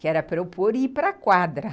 que era para eu pôr e ir para a quadra.